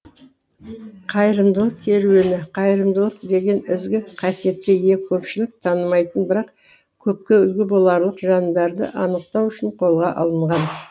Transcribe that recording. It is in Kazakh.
қайырымдылық керуені қайырымдылық деген ізгі қасиетке ие көпшілік танымайтын бірақ көпке үлгі боларлық жандарды анықтау үшін қолға алынған